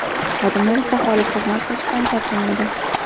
Xodimlar esa xolis xizmat qilishdan charchamaydi.